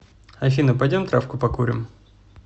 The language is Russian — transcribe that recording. афина пойдем травку покурим